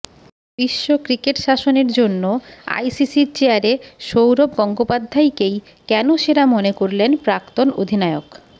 বিশ্ব ক্রিকেট শাসনের জন্য আইসিসির চেয়ারে সৌরভ গঙ্গোপাধ্যায়কেই কেন সেরা মনে করলেন প্রাক্তন অধিনায়ক